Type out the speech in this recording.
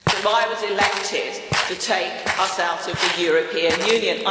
I was elected to take us out of the European Union.